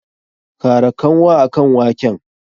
Kara kanwa akan waken!